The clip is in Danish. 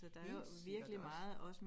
Helt sikkert også